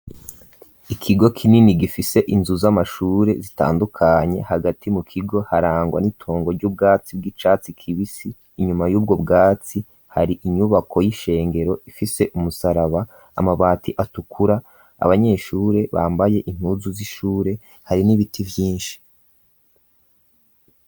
Ikigo k'inini gifise inzu z'amashure zitandukanye hagati mu kigo harangwa n'itongo ry'ubwatsi bw'icatsi kibisi inyuma y'ubwo bwatsi hari inyubako y'ishengero ifise umusaraba; amabati atukura abanyeshure bambaye intuzu z'ishure; hari n'ibiti vyinshi.